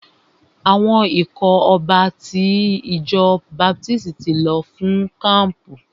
Àwọn ikọ̀ ọba ti ìjọ baptisti ti lọ fún kampu.